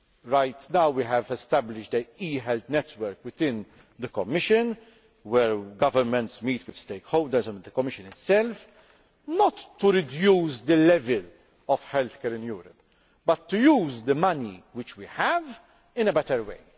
Right now we have established an e health network within the Commission, where governments meet with stakeholders and with the Commission itself, not to reduce the level of healthcare in Europe but to use the money which we have in a better way.